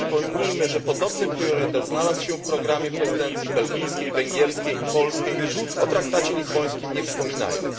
Przypomnijmy, że podobny priorytet znalazł się w programie prezydencji belgijskiej, węgierskiej i polskiej, o Traktacie Lizbońskim nie wspominając.